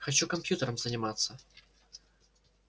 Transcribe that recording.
хочу компьютером заниматься